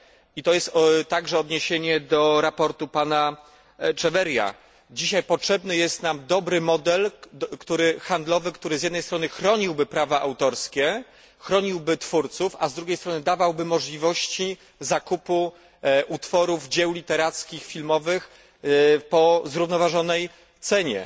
i to jest także odniesienie do sprawozdania pana Echeverría potrzebny jest nam dobry model handlowy, który z jednej strony chroniłby praw autorskie i twórców, a z drugiej strony dawałby możliwości zakupu utworów, dzieł literackich, filmowych po zrównoważonej cenie.